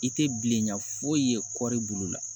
I tɛ bilenya foyi ye kɔɔri bolo la